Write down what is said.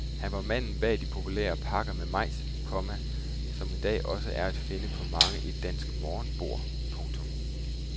Han var manden bag de populære pakker med majs, komma som i dag også er at finde på mange et dansk morgenbord. punktum